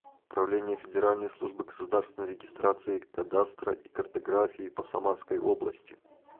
управление федеральной службы государственной регистрации кадастра и картографии по самарской области